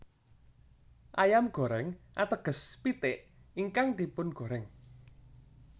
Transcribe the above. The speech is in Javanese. Ayam goreng ateges pitik ingkang dipun goreng